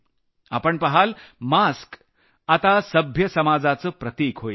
आपण पहाल मास्क आता सभ्य समाजाचं प्रतिक होईल